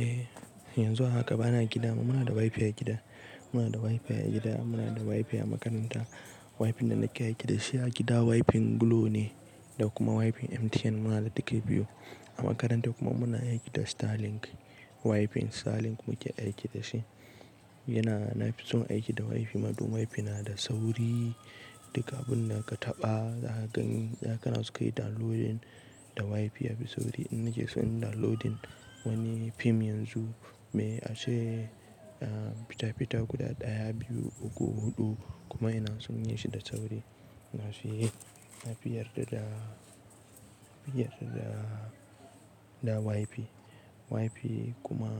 Eh, yanzu haka bana gida. Muna da WiFi a gida, muna da WiFi a gida, muna da WiFi a makaranta. WiFi ɗin da nake aiki da shi a gida WiFi Glo ne, da kuma WiFi MTN muna da ɗuka biyu. A makaranta kuma muna aiki da Starlink WiFi, Starlink muke aiki da shi. Yana, na fi son aiki da WiFi mad don WiFi na da sauri. Duka abin da ka taɓa, za ka gani, da kana suka yi downloading da WiFi yafi sauri. In naje sun yi downloading wani fim yanzu, me ashe ah, fita-fita guda ɗaya, biyu, uku, huɗu kuma yana sun yi shi da sauri. Na fi, na fi yarda da, na fi yarda da WiFi. WiFi kuma